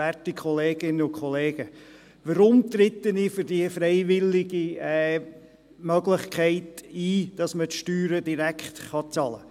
Warum trete ich für die freiwillige Möglichkeit ein, die Steuern direkt zu bezahlen?